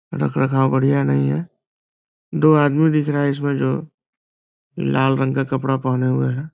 रख रखाव बढ़िया नही है। दो आदमी दिख रहा है इसमें जो लाल रंग का कपड़ा पहने हुए है।